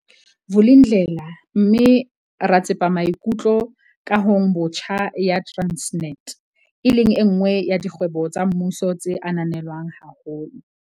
Vulindlela mme ra tsepa misamaikutlo kahong botjha ya Transnet, e leng enngwe ya dikgwebo tsa mmuso tse ananelwang haholo.